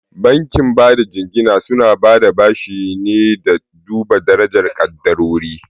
Bankin bada jingina suna bada bashi ne da duba darajar ƙadarori.